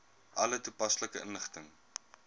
alle toepaslike inligting